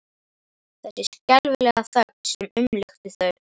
Þessi skelfilega þögn sem umlukti þau.